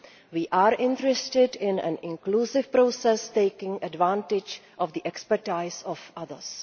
We are interested in an inclusive process, taking advantage of the expertise of others.